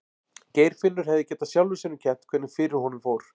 Geirfinnur hefði getað sjálfum sér um kennt hvernig fyrir honum fór.